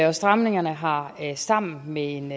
og stramningerne har sammen med en